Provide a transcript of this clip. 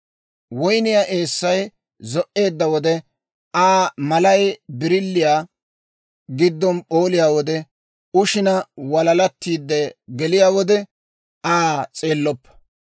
Woynniyaa eessay zo"eedda wode, Aa malay birilliyaa giddon p'ooliyaa wode, ushishin walalattiidde geliyaa wode, Aa s'eelloppa.